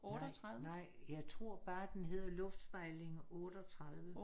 Nej nej jeg tror bare den hed luftspejling 38